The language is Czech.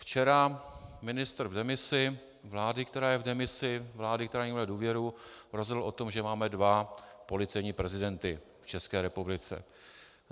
Včera ministr v demisi, vlády, která je v demisi, vlády, která nemá důvěru, rozhodl o tom, že máme dva policejní prezidenty v České republice.